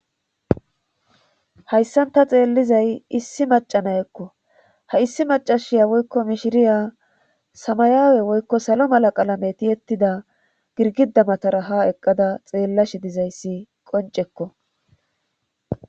Hayssanta xeellizay issi macana ekko ha issi macashiya woykko mishiriya samayaawe woykko salo mala qalametiyettida girgidamatara ha eqqada xeellashi dizayssi qoncekko